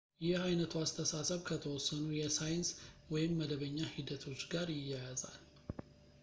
ይህ ዓይነቱ አስተሳሰብ ከተወሰኑ የሳይንስ ወይም መደበኛ ሂደቶች ጋር ይያያዛል